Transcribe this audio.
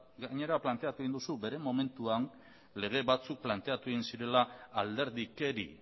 gainera planteatu egin duzu bere momentuan lege batzuk planteatu egin zirela alderdikeri